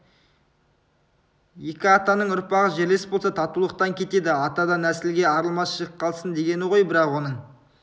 екі атаның ұрпағы жерлес болса татулықтан кетеді атадан нәсілге арылмас жік қалсын дегені ғой бірақ оның